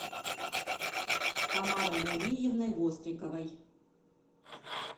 тамарой равильевной востриковой